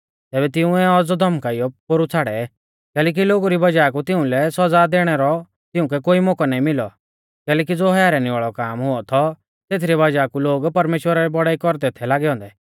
तैबै तिंउऐ सै औज़ौ धौमकाइयौ पोरु छ़ाड़ै कैलैकि लोगु री वज़ाह कु तिउंलै सौज़ा दैणै रौ तिउंकै कोई मौकौ ना मिलौ कैलैकि ज़ो हैरानी वाल़ौ काम हुऔ थौ तेथरी वज़ाह कु लोग परमेश्‍वरा री बौड़ाई कौरदै थै लागै औन्दै